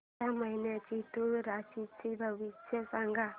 या महिन्याचं तूळ राशीचं भविष्य सांग